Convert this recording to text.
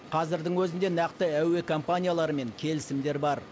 қазірдің өзінде нақты әуе компанияларымен келісімдер бар